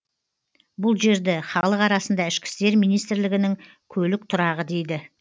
бұл жерді халық арасында ішкі істер министрлігінің көлік тұрағы дейді